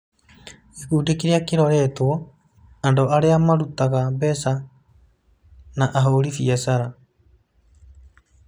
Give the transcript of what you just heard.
Gĩkundi kĩrĩa kĩroretwo: Andũ Arĩa Marutaga Mbeca na Ahũri biacara